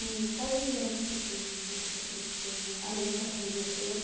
E quais as lembranças você tem dessa sua filha pequena, além dessa correria toda?